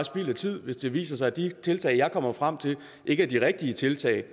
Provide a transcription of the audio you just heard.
spild af tid hvis det viser sig at de tiltag jeg kommer frem til ikke er de rigtige tiltag